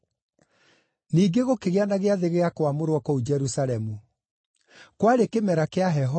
Ningĩ gũkĩgĩa na Gĩathĩ gĩa Kwamũrwo kũu Jerusalemu. Kwarĩ kĩmera kĩa heho,